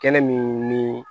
Kɛnɛ min ni